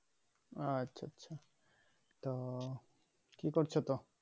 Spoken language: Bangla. আচ্ছা আচ্ছা তো কি করছো তো?